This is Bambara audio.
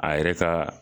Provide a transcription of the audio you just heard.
A yɛrɛ ka